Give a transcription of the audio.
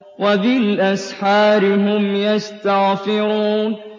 وَبِالْأَسْحَارِ هُمْ يَسْتَغْفِرُونَ